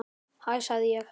Hæ sagði ég.